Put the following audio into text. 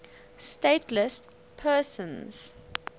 stateless persons